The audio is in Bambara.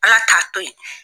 Ala t'a to yen.